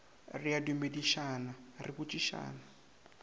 re a dumedišana re botšišana